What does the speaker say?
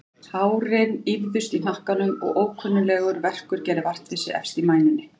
Hárin ýfðust í hnakkanum og ókunnuglegur verkur gerði vart við sig efst í mænunni.